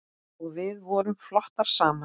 Og við vorum flottar saman.